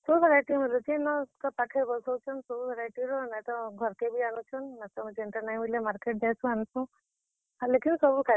ସବୁ variety ର ମିଲୁଛେ ଇନ ଏତ୍ କର୍ ପାଖେ ବସଉଛନ୍ ସବୁ variety ର। ନା ହେତ ଘର୍ କେ ବି।